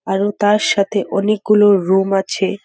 আরো তার সাথে অনেক গুলো রুম আছে।